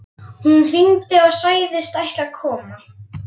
Hún hringdi og sagðist ætla að koma.